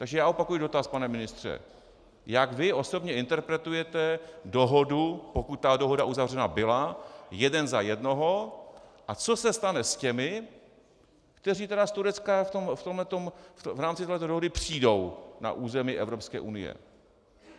Takže já opakuji dotaz, pane ministře: Jak vy osobně interpretujete dohodu, pokud ta dohoda uzavřena byla, jeden za jednoho, a co se stane s těmi, kteří tedy z Turecka v rámci této dohody přijdou na území Evropské unie?